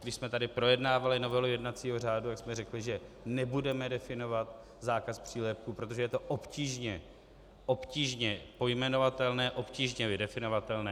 Když jsme tady projednávali novelu jednacího řádu, tak jsme řekli, že nebudeme definovat zákaz přílepků, protože je to obtížně pojmenovatelné, obtížně vydefinovatelné.